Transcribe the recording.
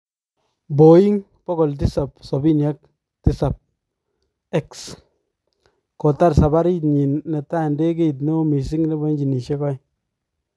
Boeng 777x: Kotar sabarit nyi nebo tai ndegeit neoo missing nebo injinisyek aeng